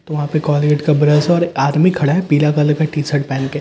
वहां पे कोलगेट का ब्रश और आदमी खड़ा हैं पीला कलर का टी शर्ट पहन के ठी --